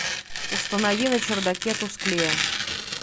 установи на чердаке тусклее